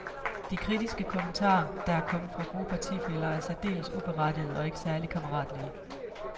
De kritiske kommentarer, der er kommet fra gode partifæller, er særdeles uberettigede og ikke særligt kammeratlige.